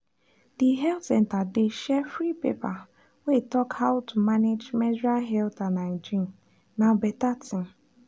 the health center dey share free paper wey talk how to manage menstrual health and hygiene—na better thing.